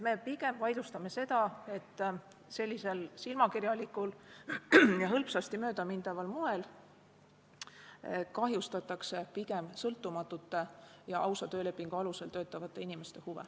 Me pigem vaidlustame seda, et sellisel silmakirjalikul ja hõlpsasti möödamindaval moel kahjustatakse sõltumatute ja ausa töölepingu alusel töötavate inimeste huve.